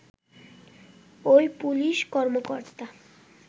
ওই পুলিশ কর্মকর্তা